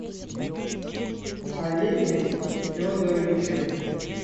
олеге федоровиче